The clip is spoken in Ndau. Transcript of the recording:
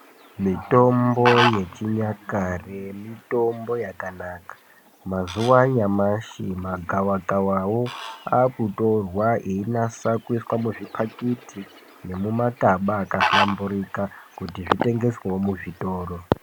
Mitombo yechinyakare mitombo yakanaka mazuwa anyamashi magava kavawo akutorwa einasa kuiswa muzvipakiti nemumakaba akahlamburika kuti zvitengeswewo muzvitoro.